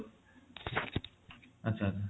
ଆଚ୍ଛା ଆଚ୍ଛା